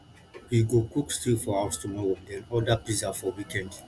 we go cook stew for house tomorrow then order pizza for weekend